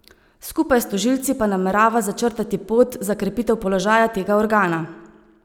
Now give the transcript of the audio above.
Skupaj s tožilci pa namerava začrtati pot za krepitev položaja tega organa.